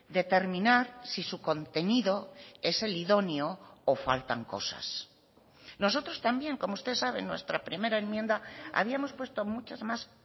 determinar si su contenido es el idóneo o faltan cosas nosotros también como usted sabe en nuestra primera enmienda habíamos puesto muchas más